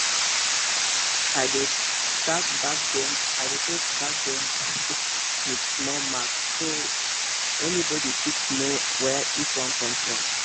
i dey tag bag them bag them with small mark so anybody fit know where each one come from